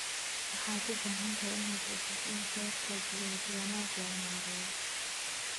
Waxaad u baahan tahay inaad hubiso in kheyraadka biyaha si wanaagsan loo maareeyo.